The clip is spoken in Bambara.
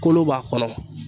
Kolo b'a kɔnɔ